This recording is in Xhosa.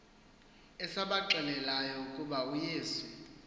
esabaxelelayo ukuba uyesu